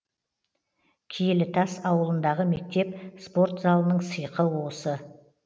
киелітас ауылындағы мектеп спорт залының сиқы осы